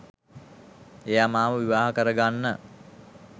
එයා මාව විවාහ කරගන්න